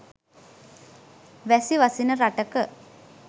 වැසි වසින රටක